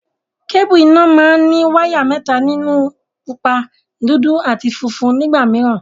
Kébùù iná máa ní wáyà mẹ́ta nínú; pupa, dúdú àti funfun nígbà mìíràn.